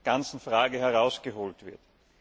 ganzen Frage herausgeholt wurde.